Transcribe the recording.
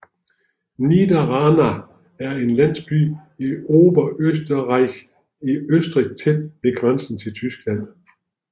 Niederranna er en landsby i Oberösterreich i Østrig tæt ved grænsen til Tyskland